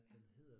Ja